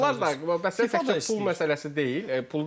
Yox, bunlar da bəsdir təkcə pul məsələsi deyil.